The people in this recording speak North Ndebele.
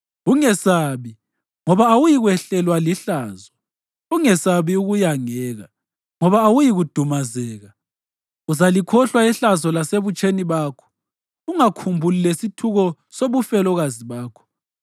“Ungesabi, ngoba awuyikwehlelwa lihlazo. Ungesabi ukuyangeka, ngoba awuyikudumazeka. Uzalikhohlwa ihlazo lasebutsheni bakho, ungakhumbuli lesithuko sobufelokazi bakho.